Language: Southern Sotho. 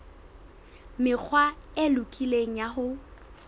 mekgwa e lokileng ya ho